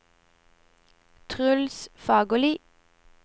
Truls Fagerli